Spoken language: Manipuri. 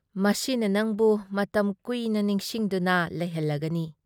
ꯃꯁꯤꯅ ꯅꯪꯕꯨ ꯃꯇꯝ ꯀꯨꯏꯅ ꯅꯤꯡꯁꯤꯡꯗꯨꯅ ꯂꯩꯍꯜꯂꯒꯅꯤ꯫ "